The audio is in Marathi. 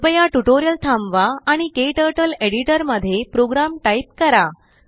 कृपयाट्यूटोरियल थांबवा आणिKTurtleएडिटरमध्ये प्रोग्राम टाईप करा